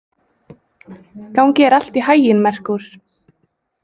Gangi þér allt í haginn, Merkúr.